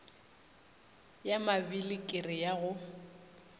ya mabili kere ya go